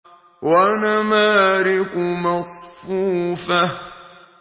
وَنَمَارِقُ مَصْفُوفَةٌ